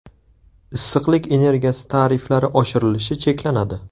Issiqlik energiyasi tariflari oshirilishi cheklanadi.